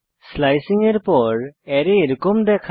slicing এর পর array এরকম দেখায়